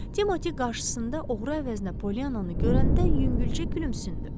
Timoti qarşısında oğru əvəzinə Polyananı görəndə yüngülcə gülümsündü.